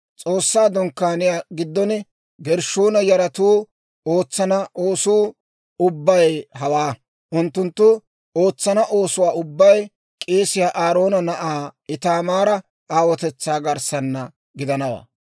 S'oossaa Dunkkaaniyaa giddon Gershshoona yaratuu ootsana oosuu ubbay hawaa. Unttunttu ootsana oosuwaa ubbay k'eesiyaa Aaroona na'aa Itaamaara aawotetsaa garssaana gidanawaa.